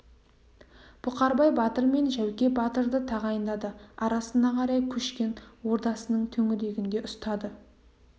бұқарбай батыр мен жәуке батырды тағайындады арасына қарай көшкен ордасының төңірегінде ұстады